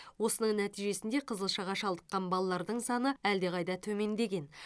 осының нәтижесінде қызылшаға шалдыққан балалардың саны әлдеқайда төмендеген